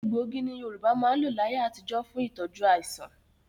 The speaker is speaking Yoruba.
Egbògi ni Yorùbá máa ń lò láyé àtijó fún tí tọju àìsàn.